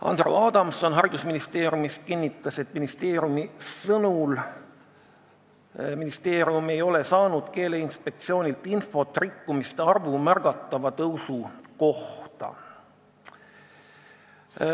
Andero Adamson haridusministeeriumist kinnitas, et ministeerium ei ole saanud Keeleinspektsioonilt infot rikkumiste arvu märgatava tõusu kohta.